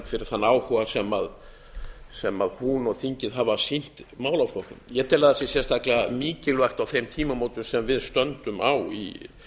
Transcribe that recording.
fyrir þann áhuga sem hún og þingið hafa sýnt málaflokknum ég tel að það sé sérstaklega mikilvægt á þeim tímamótum sem við stöndum á í